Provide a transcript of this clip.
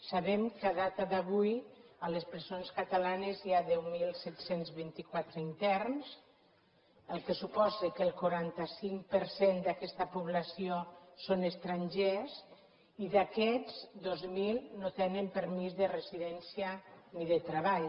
sabem que a data d’avui a les presons catalanes hi ha deu mil set cents i vint quatre interns fet que suposa que el quaranta cinc per cent d’aquesta població són estrangers i d’aquests dos mil no tenen permís de residència ni de treball